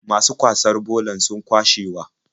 Masu kwasar bolar sun kwashewa.